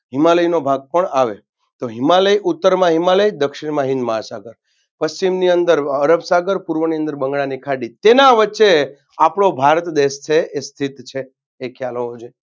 હિમાલયનો ભાગ પણ આવે તો હિમાલય ઉત્તરમાં હિમાલય દક્ષિણમાં હિન્દમહાસાગર પશ્ચિમની અંદર અરબસાગર પુર્વની અંદર બંગાળાની ખાડી તેના વચ્ચે આપનો ભારત દેશ છે એ સિધ્ધ છે એ ખ્યાલ હોવો જોઈએ.